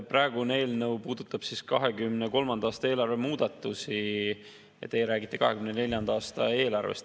Praegune eelnõu puudutab 2023. aasta eelarve muudatusi ja teie räägite 2024. aasta eelarvest.